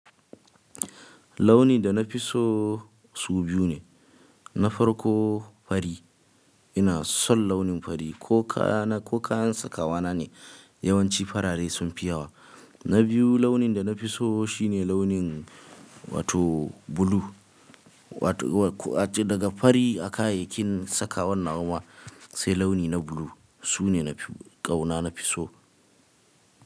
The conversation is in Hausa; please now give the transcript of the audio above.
Launi da na fi so su biyu ne, na farko fari. Ina son launin fari ko kaya-- ko kayan sakawa na ne yawanci farare sunfi yawa. Na biyu launin da na fi so shine launin wato blue. Wato, wa-- daga fari a kayayyakin sakawar nawa wa sai launi na blue. Su ne na fi, ƙauna na fi so.